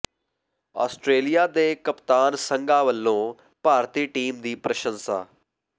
Australia ਦੇ ਕਪਤਾਨ ਸੰਘਾ ਵਲੋਂ ਭਾਰਤੀ ਟੀਮ ਦੀ ਪ੍ਰਸੰਸਾ